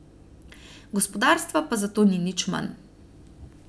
Gospodarstva pa zato ni nič manj.